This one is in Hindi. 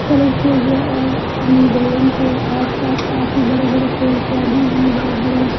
कलर किया गया और हम बिल्डिंग के आसपास काफी बड़े-बड़े पेड़ पौधे हैं बड़े-बड़े--